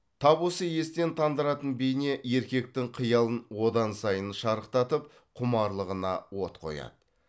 тап осы естен тандыратын бейне еркектің қиялын одан сайын шарықтатып құмарлығына от қояды